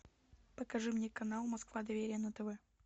покажи мне канал москва доверие на тв